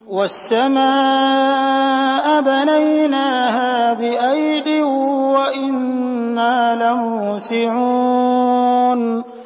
وَالسَّمَاءَ بَنَيْنَاهَا بِأَيْدٍ وَإِنَّا لَمُوسِعُونَ